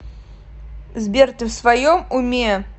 сбер ты в своем уме